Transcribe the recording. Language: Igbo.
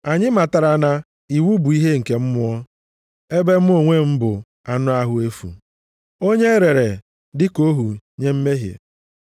Anyị matara na iwu bụ ihe nke mmụọ ebe mụ onwe m bụ anụ ahụ efu, onye e rere dịka ohu nye mmehie.